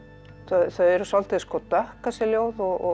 þau eru svolítið dökk þessi ljóð og